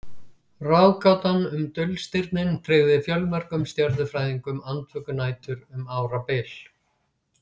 Ráðgátan um dulstirnin tryggði fjölmörgum stjörnufræðingum andvökunætur um árabil.